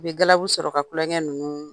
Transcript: U bɛ galabu sɔrɔ ka kulɔnkɛ ninnu